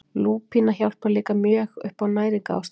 Lúpína hjálpar líka mjög upp á næringarástandið.